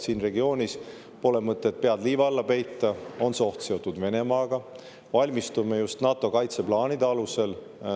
Siin regioonis, pole mõtet pead liiva alla peita, on see oht seotud eeskätt Venemaaga ja me valmistume just NATO kaitseplaanide alusel.